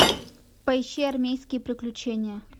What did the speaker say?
поищи армейские приключения